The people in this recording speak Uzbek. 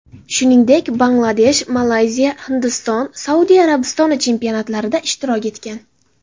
Shuningdek, Bangladesh, Malayziya, Hindiston, Saudiya Arabistoni chempionatlarida ishtirok etgan.